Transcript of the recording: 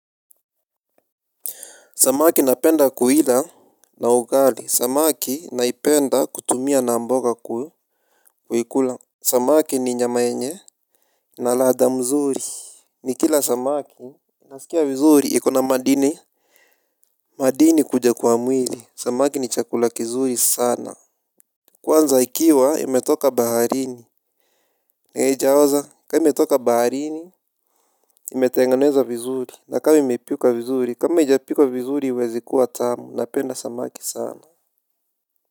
Samaki napenda kuila na ugali, samaki naipenda kutumia na mboga kuikula. Samaki ni nyama yenye ina ladhaa mzuri. Ni kila samaki nasikia vizuri, ikona madini madini kuja kwa mwili. Samaki ni chakula kizuri sana. Kwanza ikiwa imetoka baharini, haijaoza, kama imetoka baharini imetengenezwa vizuri, na kama imepika vizuri, kama haijapikwa vizuri haiwezi kuwa tamu, napenda samaki sana.